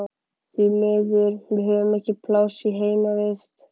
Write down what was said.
Því miður, við höfum ekki pláss í heimavist.